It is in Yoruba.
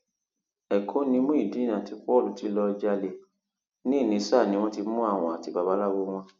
ẹkọ ni muideen àti paul ti lọọ jalè ni ìnísá wọn ti mú àwọn àti babaláwo wọn